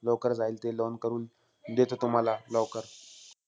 लवकर जाईल ते loan करून, देतो तुम्हाला लवकर.